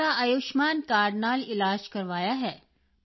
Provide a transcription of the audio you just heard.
ਮੈਂ ਤਾਂ ਆਯੁਸ਼ਮਾਨ ਕਾਰਡ ਨਾਲ ਇਲਾਜ ਕਰਵਾਇਆ ਹੈ